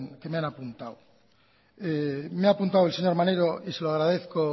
que me han apuntado me ha apuntado el señor maneiro y se lo agradezco